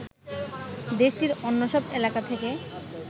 দেশটির অন্য সব এলাকা থেকে